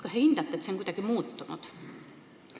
Kas see on teie hinnangul kuidagi muutunud?